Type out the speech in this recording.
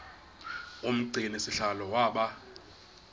umgcini sihlalo waba